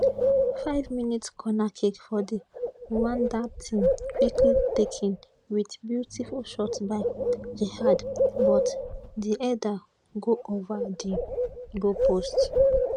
5mins corner kick for di rwandan team quickly taken wit beautiful shot by djihad but di header go ova di goalpost